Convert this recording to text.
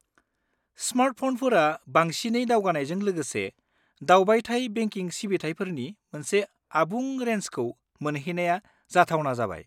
स्मार्टफ'नफोरा बांसिनै दावगानायजों लोगोसे, दावबायथाय बेंकिं सिबिथाइफोरनि मोनसे आबुं रेन्जखौ मोनहैनाया जाथावना जाबाय।